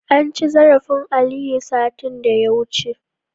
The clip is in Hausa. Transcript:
Anci zarafin Aliyu, satin da ya wuce.